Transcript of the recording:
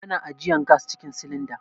Ana ajiyan gas cikin silinda.